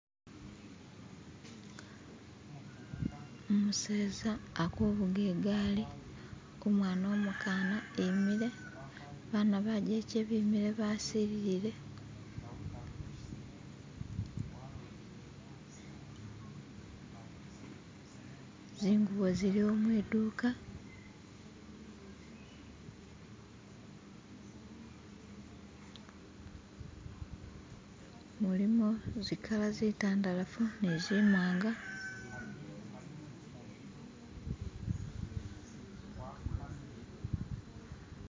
umuseza alikuvuga igaali umwana umukaana imile abaana bageke bemile basililile zingubo zili o mwiduuka mulimo zikaala zitandalafu ni zimwanga